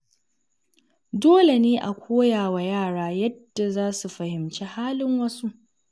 Dole ne a koya wa yara yadda za su fahimci halin wasu.